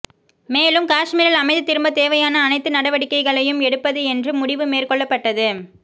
மேலும் காஷ்மீரில் அமைதி திரும்ப தேவையான அனைத்து நடவடிக்கைகளையும் எடுப்பது என்று முடிவு மேற்கொள்ளப்பட்டது